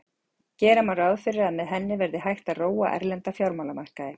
Gera má ráð fyrir að með henni verði hægt að róa erlenda fjármálamarkaði.